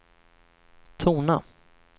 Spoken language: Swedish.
tona